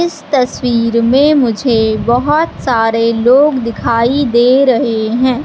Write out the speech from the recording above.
इस तस्वीर में मुझे बहोत सारे लोग दिखाई दे रहे है।